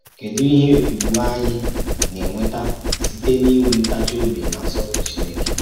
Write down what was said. Kèdù íhè ùgwù ànyí nà-ènwèta sītè n’ínwe ntáchì-ọ̀bì nà nsọ́pùrụ̀ Chínèkè